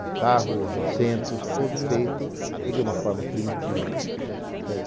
do carro, os assentos, tudo feito de uma forma primitiva.